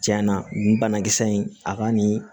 Cɛn na nin banakisɛ in a ka nin